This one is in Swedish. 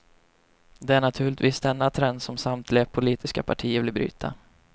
Det är naturligtvis denna trend som samtliga politiska partier vill bryta.